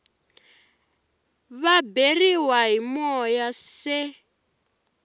va beriwa hi moya se